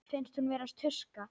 Finnst hún vera tuska.